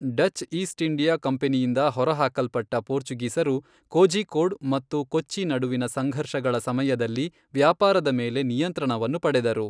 Dutch East India ಕಂಪನಿಯಿಂದ ಹೊರಹಾಕಲ್ಪಟ್ಟ ಪೋರ್ಚುಗೀಸರು, ಕೋಝಿಕ್ಕೋಡ್ ಮತ್ತು ಕೊಚ್ಚಿ ನಡುವಿನ ಸಂಘರ್ಷಗಳ ಸಮಯದಲ್ಲಿ ವ್ಯಾಪಾರದ ಮೇಲೆ ನಿಯಂತ್ರಣವನ್ನು ಪಡೆದರು.